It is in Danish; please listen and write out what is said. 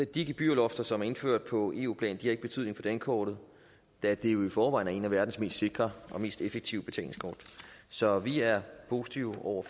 de gebyrlofter som er indført på eu plan har ikke betydning for dankortet da det jo i forvejen er et af verdens mest sikre og mest effektive betalingskort så vi er positive over